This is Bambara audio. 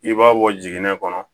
I b'a bɔ jiginnen kɔnɔ